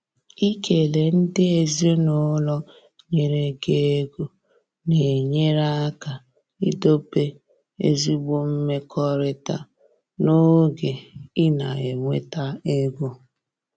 Ikele ndị ezinụlọ nyere gi ego na-enyere aka idobe ezigbo mmekọrịta n’oge ị na-enweta ego.